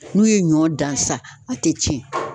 N'u ye ɲɔ dan sa a te cɛn